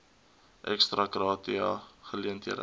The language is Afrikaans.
ex gratia aangeleenthede